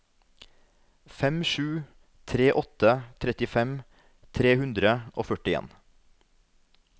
fem sju tre åtte trettifem tre hundre og førtien